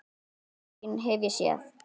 Eina sýn hef ég séð.